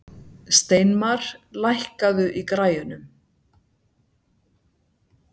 Steinmar, lækkaðu í græjunum.